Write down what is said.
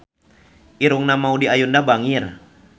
Irungna Maudy Ayunda bangir